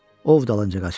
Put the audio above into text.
Ov dalınca qaçıb.